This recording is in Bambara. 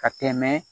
Ka tɛmɛ